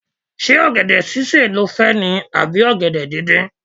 Ṣé ọ̀gẹ̀dẹ̀ sísè ni ó fẹ́ ni à bí ọ̀gẹ̀dẹ̀ díndín.